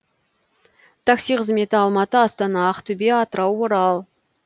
такси қызметі алматы астана ақтөбе атырау орал